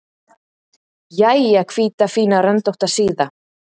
Jæja, hvíta, fína, röndótta síða.